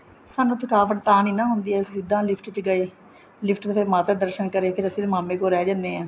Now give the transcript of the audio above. ਸਾਨੂੰ ਥਕਾਵਟ ਤਾਂ ਨਹੀਂ ਹੁੰਦੀ ਅਸੀਂ ਸਿੱਧਾ lift ਚ ਗਏ lift ਵੇਲੇ ਮਾਤਾ ਦੇ ਦਰਸ਼ਨ ਕਰੇ ਫ਼ਿਰ ਅਸੀਂ ਮਾਮੇ ਕੋਲ ਰਹਿ ਜਾਂਦੇ ਹਾਂ